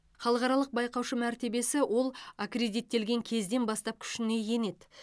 халықаралық байқаушы мәртебесі ол аккредиттелген кезден бастап күшіне енеді